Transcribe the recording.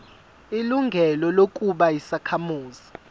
ilungelo lokuba yisakhamuzi